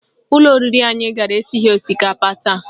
Ụlọ oriri anyị gara esighị osikapa taa